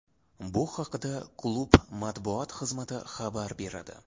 Bu haqda klub matbuot xizmati xabar beradi .